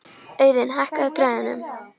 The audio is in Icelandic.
Auðun, hækkaðu í græjunum.